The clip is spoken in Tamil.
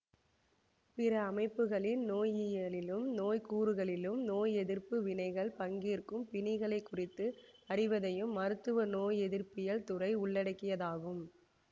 பிற அமைப்புகளின் நோயியலிலும் நோய் கூறுகளிலும் நோயெதிர்ப்பு வினைகள் பங்கேற்கும் பிணிகளைக் குறித்து அறிவதையும் மருத்துவ நோயெதிர்ப்பியல் துறை உள்ளடக்கியதாகும்